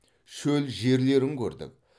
шөл жерлерін көрдік